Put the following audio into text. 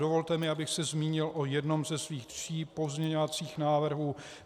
Dovolte mi, abych se zmínil o jednom ze svých tří pozměňovacích návrhů.